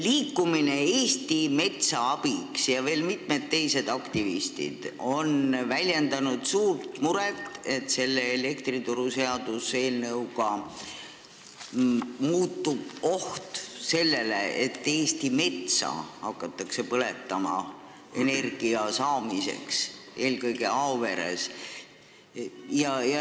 Liikumine Eesti Metsa Abiks ja ka teised aktivistid on väljendanud suurt muret, et selle elektrituruseaduse muudatuse tõttu suureneb oht, et Eesti metsa hakatakse põletama energia saamiseks, eelkõige Aoveres.